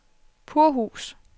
Purhus